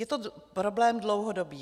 Je to problém dlouhodobý.